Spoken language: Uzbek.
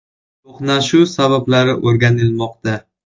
To‘qnashuv sabablari o‘rganilmoqda.